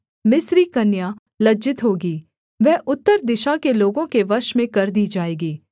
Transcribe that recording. मिस्री कन्या लज्जित होगी वह उत्तर दिशा के लोगों के वश में कर दी जाएगी